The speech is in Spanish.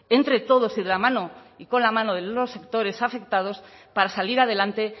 entre todos y de la mano y con la mano de los sectores afectados para salir adelante